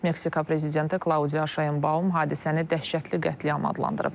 Meksika prezidenti Klaudiya Şaenbaum hadisəni dəhşətli qətliam adlandırıb.